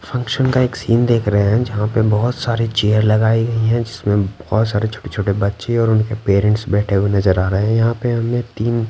function का एक scene देख रहे हैं जहां पे बहुत सारी चेयर लगाई गई हैं जिसमें बहुत सारे छोटे-छोटे बच्चे और उनके पेरेंट्स बैठे हुए नजर आ रहे हैं यहां पे हमें तीन--